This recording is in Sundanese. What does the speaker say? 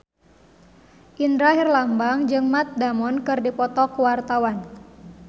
Indra Herlambang jeung Matt Damon keur dipoto ku wartawan